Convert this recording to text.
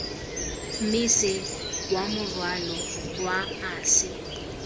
mmese wa morwalo wa ase